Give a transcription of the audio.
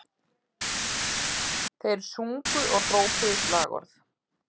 Þeir sungu og hrópuðu slagorð